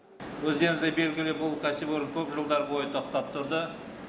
өздеріңізге белгілі бұл кәсіпорын көп жылдар бойы тоқтап тұрды